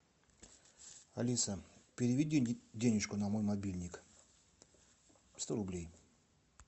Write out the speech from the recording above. алиса переведи денежку на мой мобильник сто рублей